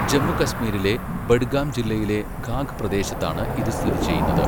ജമ്മു കശ്മീരിലെ ബഡ്ഗാം ജില്ലയിലെ ഖാഗ് പ്രദേശത്താണ് ഇത് സ്ഥിതി ചെയ്യുന്നത്.